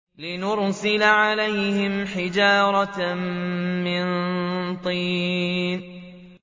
لِنُرْسِلَ عَلَيْهِمْ حِجَارَةً مِّن طِينٍ